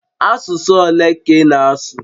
Asụsụ ole ka ị na-asụ?